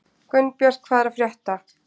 Gunnbjört, hvað er að frétta?